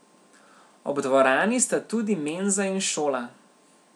Ob dvorani sta tudi menza in šola.